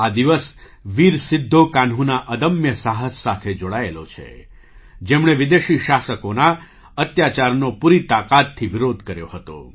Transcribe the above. આ દિવસ વીર સિદ્ધો કાન્હૂના અદમ્ય સાહસ સાથે જોડાયેલો છે જેમણે વિદેશી શાસકોના અત્યાચારનો પૂરી તાકાતથી વિરોધ કર્યો હતો